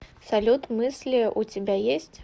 салют мысли у тебя есть